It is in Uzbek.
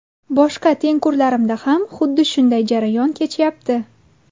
Boshqa tengqurlarimda ham xuddi shunday jarayon kechyapti.